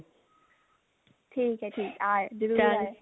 ਠੀਕ ਹੈ ਠੀਕ ਹੈ ਆਏ ਓ ਜਰੂਰ ਆਇਓ